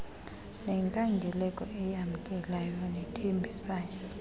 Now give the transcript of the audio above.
nenkangeleko eyamkelayo nethembisayo